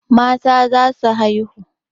Mata za su haihu.